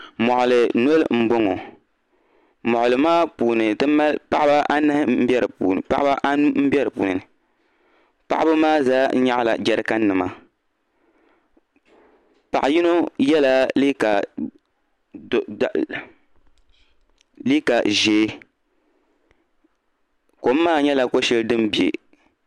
Moɣali noli m boŋɔ moɣali maa puuni ti mali paɣaba anu m be dipuuni paɣaba maa zaa nyaɣila jerikan nima paɣa yino yela liiga ʒee kom maa nyɛla ko'sheli din biɛ.